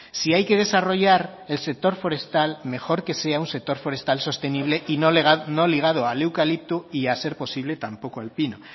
si hay que desarrollar el sector forestal mejor que sea un sector forestal sostenible y no ligado al eucalipto y a ser posible tampoco al pino